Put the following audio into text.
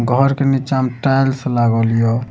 घर के निचा मे टाइल्स लागल या।